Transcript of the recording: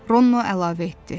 Ronno əlavə etdi: